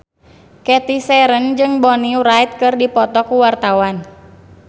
Cathy Sharon jeung Bonnie Wright keur dipoto ku wartawan